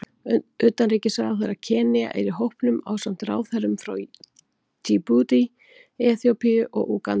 Utanríkisráðherra Kenía er í hópnum ásamt ráðherrum frá Djíbútí, Eþíópíu og Úganda.